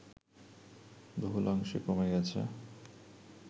বহুলাংশে কমে গেছে